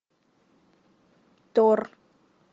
тор